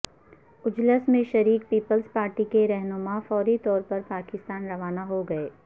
اجلاس میں شریک پیپلز پارٹی کے رہنما فوری طور پر پاکستان روانہ ہو گئے